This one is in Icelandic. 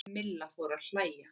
Milla fór að hlæja.